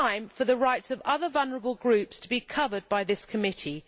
It is time for the rights of other vulnerable groups to be covered by this committee.